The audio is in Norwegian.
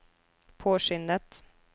påskyndet